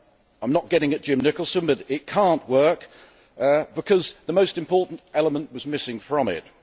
I am not getting at Jim Nicholson, but it cannot work, because the most important element is missing from it.